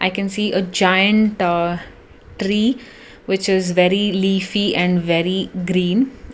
we can see a joint tree which is very leafy and very green.